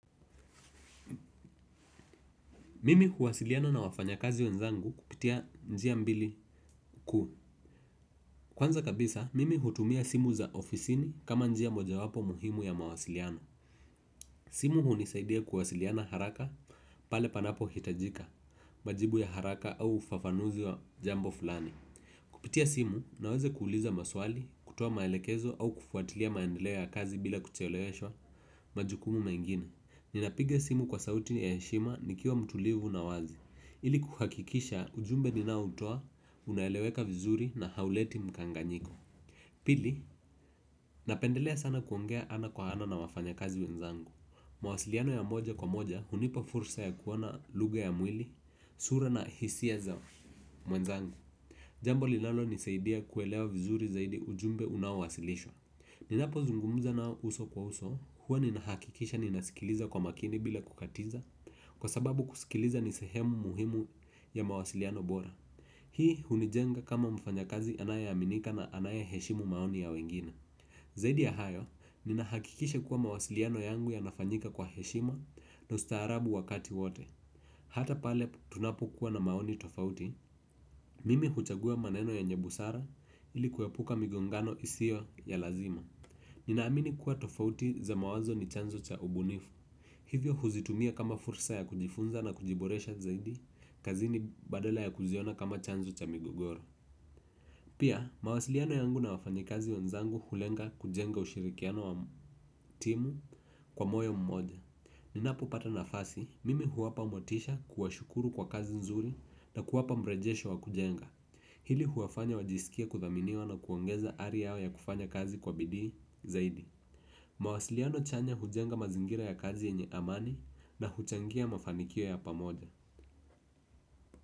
Mimi huwasiliana na wafanya kazi wenzangu kupitia njia mbili kuu. Kwanza kabisa, mimi hutumia simu za ofisini kama njia moja wapo muhimu ya mawasiliano. Simu hunisaidia kuwasiliana haraka pale panapo hitajika majibu ya haraka au ufafanuzi wa jambo fulani. Kupitia simu naweza kuuliza maswali, kutuwa maelekezo au kufuatilia maendeleo ya kazi bila kucheloyeshwa majukumu mengine. Ninapiga simu kwa sauti ya heshima nikiwa mtulivu na wazi. Ili kuhakikisha ujumbe ninao utoa, unaeleweka vizuri na hauleti mkanganyiko. Pili, napendelea sana kuongea ana kwa ana na wafanya kazi wenzangu mawasiliano ya moja kwa moja hunipa fursa ya kuona luga ya mwili sura na hisia za mwenzangu. Jambo linalo nisaidia kuelewa vizuri zaidi ujumbe unaowasilishwa. Ninapo zungumuza na uso kwa uso, huwa ninahakikisha ninasikiliza kwa makini bila kukatiza. Kwa sababu kusikiliza nisehemu muhimu ya mawasiliano bora. Hii hunijenga kama mfanya kazi anayeaminika na anayeheshimu maoni ya wengine. Zaidi ya hayo, ninahakikisha kuwa mawasiliano yangu ya nafanyika kwa heshima na ustaharabu wakati wote. Hata pale tunapo kuwa na maoni tofauti mimi huchagua maneno yenye busara ili kuepuka migongano isiyo ya lazima. Ninaamini kuwa tofauti za mawazo ni chanzo cha ubunifu. Hivyo huzitumia kama fursa ya kujifunza na kujiboresha zaidi kazini badala ya kuziona kama chanzo cha migogoro. Pia, mawasiliano yangu na wafanya kazi wenzangu hulenga kujenga ushirikiano wa timu kwa moyo mmoja. Ninapo pata nafasi, mimi huwapa motisha kuwashukuru kwa kazi nzuri na kuwapa mrejesho wa kujenga. Hili huwafanya wajisikie kuthaminiwa na kuongeza ari yao ya kufanya kazi kwa bidii zaidi. Mawasiliano chanya hujenga mazingira ya kazi ini amani na huchangia mafanikio ya pamoja.